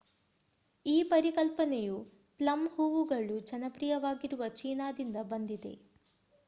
ಈ ಪರಿಕಲ್ಪನೆಯು ಪ್ಲಮ್ ಹೂವುಗಳು ಜನಪ್ರಿಯವಾಗಿರುವ ಚೀನಾ ದಿಂದ ಬಂದಿದೆ